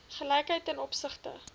gelykheid ten opsigte